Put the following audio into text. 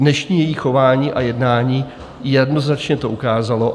Dnešní její chování a jednání jednoznačně to ukázalo.